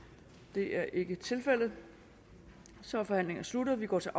det er ikke tilfældet så er forhandlingen sluttet og vi går til